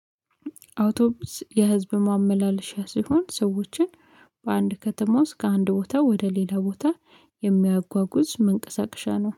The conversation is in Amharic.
አውቶቢስ የህዝብ ማመላለሻ ሲሆን ሰዎችን በአንድ ከተማ ውስጥ ከአንድ ቦታ ወደ ሌላ ቦታ የሚያጓጉዝ መንቀሳቀሻ ነው